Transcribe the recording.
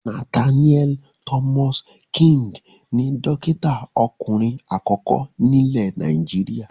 Nathaniel Thomas King ni dọ́kítá ọkùnrin àkọ́kọ́ nílẹ̀ Nàìjíríà.